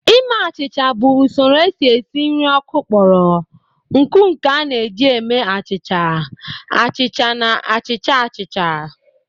Ime achịcha bụ usoro esi esi nri ọkụ kpọrọ nkụ nke a na-eji eme achịcha, achịcha na achịcha achịcha